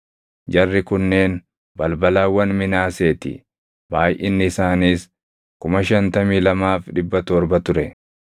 Jarri kunneen balbalawwan Minaasee ti; baayʼinni isaaniis 52,700 ture.